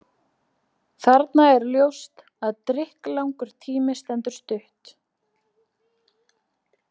Þarna er ljóst að drykklangur tími stendur stutt.